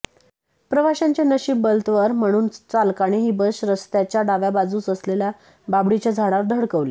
प्रवाशांचे नशीब बलत्वर म्हणून चालकाने ही बस रस्त्याच्या डाव्या बाजूस असलेल्या बाभळीच्या झाडावर धडकवली